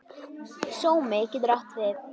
Sómi getur átt við